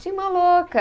Tinha uma louca.